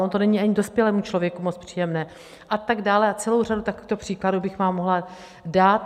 Ono to není ani dospělému člověku moc příjemné a tak dále a celou řadu takovýchto příkladů bych vám mohla dát.